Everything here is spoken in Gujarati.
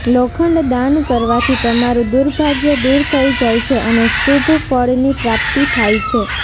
લોખંડ દાન કરવાથી તમારું દુર્ભાગ્ય દૂર થઇ જાય છે અને શુભફળની પ્રાપ્તિ થાય છે